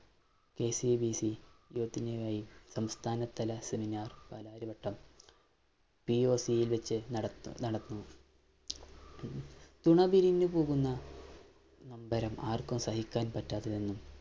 KCBC സംസ്ഥാന തല seminar‍ Palarivattam യില്‍ വച്ച് നടന്നു തുണ പിരിഞ്ഞു പോകുന്ന നൊമ്പരം ആര്‍ക്കും സഹിക്കാന്‍ പറ്റാത്തതെന്നും